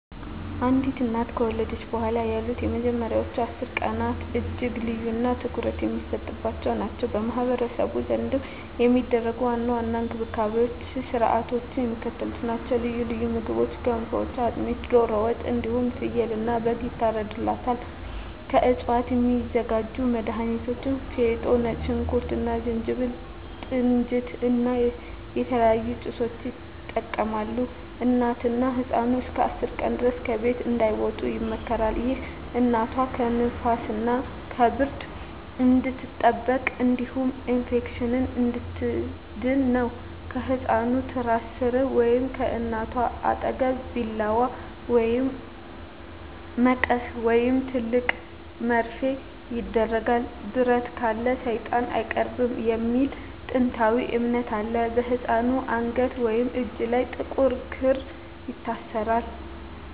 አንዲት እናት ከወለደች በኋላ ያሉት የመጀመሪያዎቹ 10 ቀናት እጅግ ልዩና ትኩረት የሚሰጥባቸው ናቸው። በማኅበረሰቡ ዘንድ የሚደረጉ ዋና ዋና እንክብካቤዎችና ሥርዓቶች የሚከተሉት ናቸው፦ ልዩ ልዩ ምግቦች ገንፎ፣ አጥሚት፣ ዶሮ ወጥ እንዲሁም ፍየልና በግ ይታርድላታል። ከእፅዋት የሚዘጋጁ መድሀኒቶች ፌጦ፣ ነጭ ሽንኩርት እና ዝንጅብል፣ ጥንጅት እና የተለያዩ ጭሶችን ይጠቀማሉ። እናትና ህፃኑ እስከ 10 ቀን ድረስ ከቤት እንዳይወጡ ይመከራል። ይህ እናቷ ከንፋስና ከብርድ እንድትጠበቅ እንዲሁም ከኢንፌክሽን እንድትድን ነው። ከህፃኑ ትራስ ሥር ወይም ከእናቷ አጠገብ ቢላዋ፣ መቀስ ወይም ትልቅ መርፌ ይደረጋል። "ብረት ካለ ሰይጣን አይቀርብም" የሚል ጥንታዊ እምነት አለ። በህፃኑ አንገት ወይም እጅ ላይ ጥቁር ክር ይታሰራል።